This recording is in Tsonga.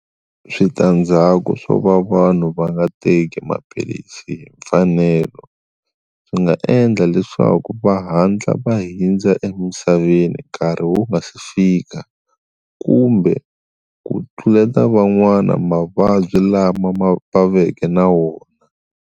Switandzhaku swo va vanhu va nga teki maphilisi hi mfanelo swi nga endla leswaku va hatla va hundza emisaveni nkarhi wu nga si fika kumbe ku tluleta van'wana mavabyi lama va veke na wona.